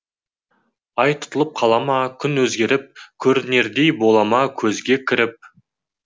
ай тұтылып қалама күн өзгеріп көрінердей болама көзге кіріп